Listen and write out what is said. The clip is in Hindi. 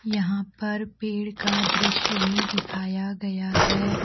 यहाँ पर पेड़ का दृश्य भी दिखाया गया है।